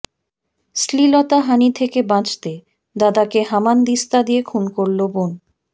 শ্লীলতাহানি থেকে বাঁচতে দাদাকে হামানদিস্তা দিয়ে খুন করল বোন